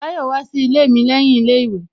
Tayọ wá sí ilé mi lẹ́yìn ilé ìwé